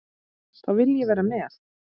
Þá vil ég vera með.